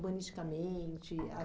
urbanisticamente? As